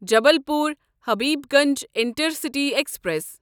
Jabalpur Habibganj intercity express